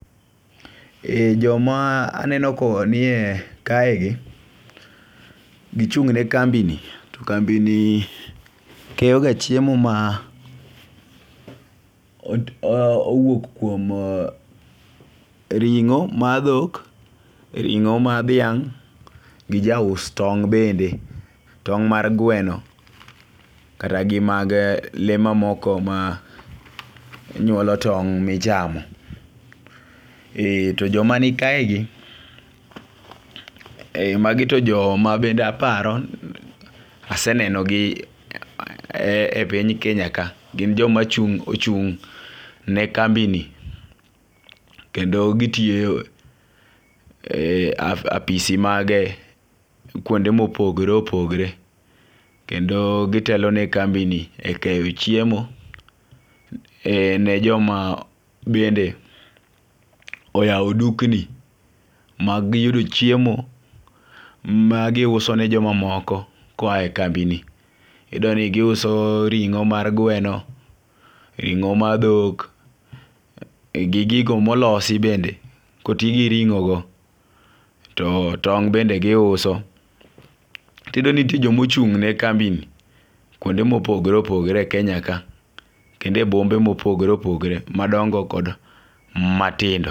Joma aneno ka nie kai gi, gichung' ne kambi ni to kambi ni keyo ga chiemo ma owuok kuom e ring'o mar dhok e ring'o mar dhiang' gija us tong' bende tong' mar gweno ,kata gi mag lee mamoko manyuolo tong' michamo. To joma ni kae gi ei magi to joma bende aparo aseneno gi e piny Kenya ka gin joma chung' ochung' ne kambi ni kendo gitiyo e apisi mag kuonde mopogre opogre, kendo gitelo ne kambi ni e ekeyo chiemo e ne joma bende oyawo dukni mag yudo chiemo ma giuso ne jomamoko koa e kambi ni. Iyudo ni kisuo ring'o mar gweno ring'o mar dhok gi gigo molosi bende kotigi ringo go to tong' bende giuso. Tiyudo ni ntie jomochung' ne kambi ni kuonde mopogre opogre e kenya ka kendo e bombe mopogre opogre madongo kod matindo.